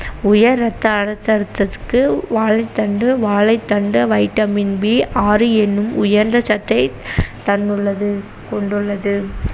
உயர் ரத்த அழுத்தத்திற்கு வாழைத்தண்டு வாழைத்தண்ட vitamin B ஆறு என்னும் உயர்ந்த சத்தைத் தந்துள்ளது கொண்டுள்ளது